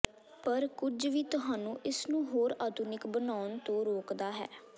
ਪਰ ਕੁਝ ਵੀ ਤੁਹਾਨੂੰ ਇਸ ਨੂੰ ਹੋਰ ਆਧੁਨਿਕ ਬਣਾਉਣ ਤੋਂ ਰੋਕਦਾ ਹੈ